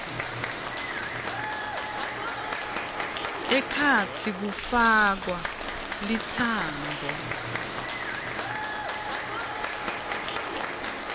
ekhatsi kufakwa litsambo